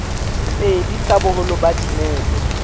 pedi tsa boholo ba dinepe